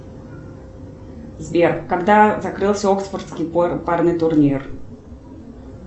сбер когда закрылся оксфордский парный турнир